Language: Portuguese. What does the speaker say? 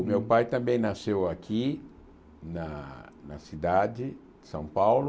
O meu pai também nasceu aqui, na na cidade de São Paulo.